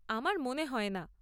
আমার মনে হয় না।